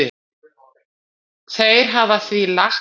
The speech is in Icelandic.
Þeir hafa því lagt fram